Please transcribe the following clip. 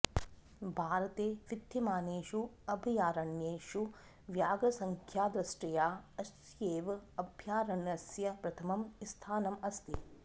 भारते विद्यमानेषु अभयारण्येषु व्याघ्रसङ्ख्यादृष्ट्या अस्यैव अभयारण्यस्य प्रथमं स्थानम् अस्ति